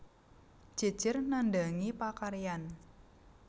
Jejer nandhangi pakaryan